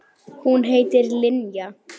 Hún heitir Linja.